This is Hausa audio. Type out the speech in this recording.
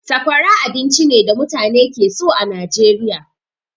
Sakwara abinci ne da mutane ke so a Nijeriya.